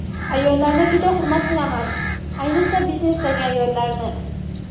Ayollarni juda hurmat qilaman, ayiqsa biznesdagi ayollarni.